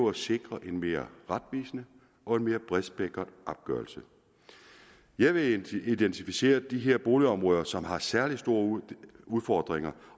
at sikre en mere retvisende og en mere bredspektret opgørelse jeg vil identificere de boligområder som har særlig store udfordringer